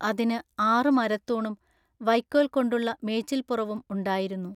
അതിനു ആറു മരത്തൂണും വയ്ക്കൊൽകൊണ്ടുള്ള മേച്ചിൽ പുറവും ഉണ്ടായിരുന്നു.